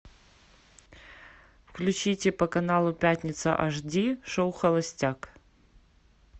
включите по каналу пятница эйч ди шоу холостяк